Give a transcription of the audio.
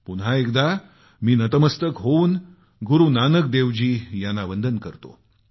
पुन्हा एकदा मी नतमस्तक होऊन गुरूनानक देव जी यांना वंदन करतो